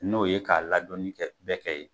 N'o ye k'a ladonni kɛ, bɛɛ kɛ ye.